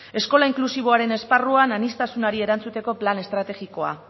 eskola inklusiboaren esparruan aniztasunari erantzuteko plana estrategikoa